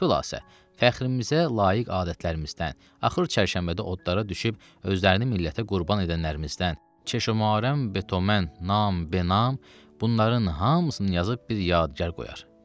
Xülasə, fəxrimizə layiq adətlərimizdən, axır çərşənbədə odlara düşüb özlərini millətə qurban edənlərimizdən, çeşömən, betoman, nam, benam, bunların hamısını yazıb bir yadgar qoyar.